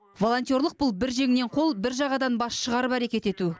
волонтерлік бұл бір жеңнен қол бір жағадан бас шығарып әрекет ету